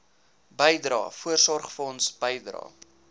bydrae voorsorgfonds bydrae